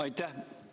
Aitäh!